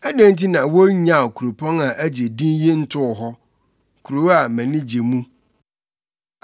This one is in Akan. Adɛn nti na wonnyaw kuropɔn a agye din yi ntoo hɔ, kurow a mʼani gye mu?